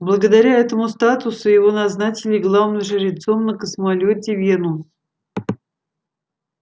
благодаря этому статусу его назначили главным жрецом на космолёте венус